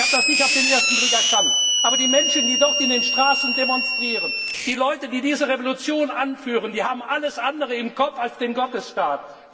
Ich muss zugeben, ich habe das nicht auf den ersten Blick erkannt, aber die Menschen, die dort in den Straßen demonstrieren, die Leute, die diese Revolution anführen, die haben alles andere im Kopf als den Gottesstaat.